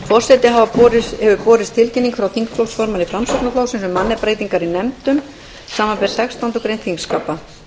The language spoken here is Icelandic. forseta hefur borist tilkynning frá þingflokksformanni framsóknarflokksins um mannabreytingar í nefndum samanber sextándu grein þingskapa